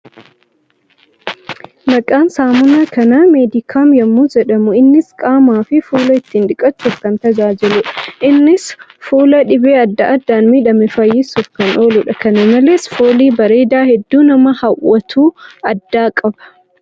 Maqaan saamunaa kanaa meediikaam yemmuu jedhamu innis qaama fi fuula ittiin dhiqachuuf kan tajaajiluudha. Innis fuula dhibee adda addaan miidhame fayyisuuf kan ooludha. Kana malees, foolii bareedaa hedduu nama hawwatu addaa qaba.